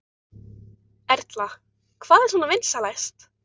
Erla: Hvað er svona vinsælast?